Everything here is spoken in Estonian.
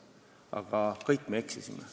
Aga kõik me eksisime.